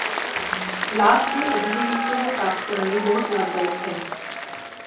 ਲਾਸ਼ ਦੇ ਅਜਿਹੇ ਹਿੱਸੇ ਨੂੰ ਪ੍ਰਾਪਤ ਕਰਨ ਲਈ ਬਹੁਤ ਲਾਭਦਾਇਕ ਹੈ